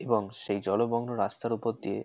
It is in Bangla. এবং সেই জলমগ্ন রাস্তার উপর দিয়ে--